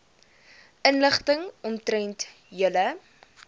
inligting omtrent julle